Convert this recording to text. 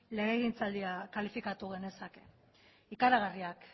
legegintzaldia kalifikatu genezake ikaragarriak